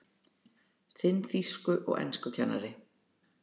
Þinn þýsku- og enskukennari